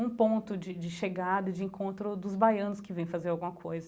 um ponto de de chegada, de encontro dos baianos que vem fazer alguma coisa.